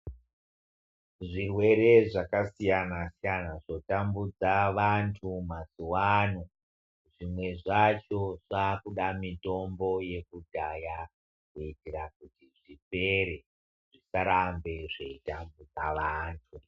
Zvirwere zvakasiyana siyana zvotambudza vantu mazuvano zvimwe zvacho zvakuda mitombo yekudhaya kuitira kuti zvipere zvisarambe zveitambudza vantu.